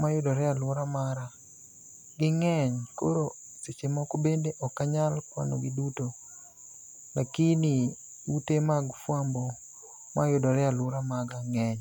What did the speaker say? mayudore a alwora mara. Ging'eny koro seche moko bende ok anyal kwanogi duto lakini ute mag fwambo mayudore e alwora maga ng'eny.